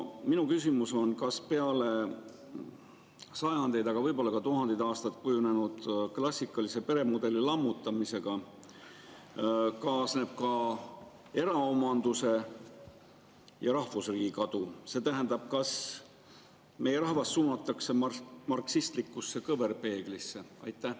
Minu küsimus on: kas sajandeid, aga võib-olla ka tuhandeid aastaid kujunenud klassikalise peremudeli lammutamisega kaasneb ka eraomanduse ja rahvusriigi kadu, see tähendab, kas meie rahvas suunatakse marksistlikusse kõverpeeglisse?